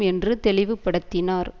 என்று தெளிவுபடுத்தினார்